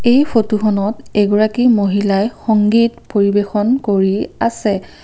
এই ফটোখনত এগৰাকী মহিলাই সংগীত পৰিৱেশন কৰি আছে।